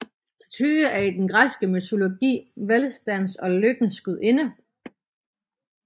Tyche er i den græske mytologi velstandens og lykkens gudinde